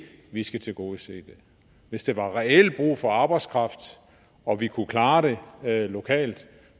vi skal tilgodese det hvis der reelt var brug for arbejdskraft og vi kunne klare det lokalt